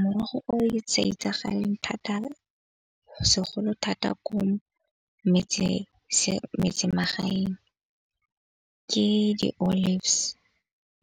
Morogo o e itsagaleng thata segolo thata ko metsemagaeng ke di-olives.